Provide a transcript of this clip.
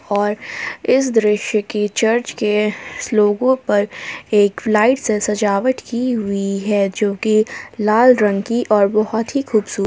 और इस दृश्य की चर्च के लोगों पर एक लाइट से सजावट की हुई है जो कि लाल रंग की और बहुत ही खूबसूरत--